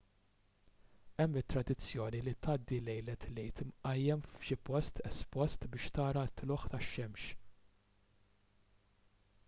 hemm it-tradizzjoni li tgħaddi lejlet l-għid imqajjem f'xi post espost biex tara t-tlugħ tax-xemx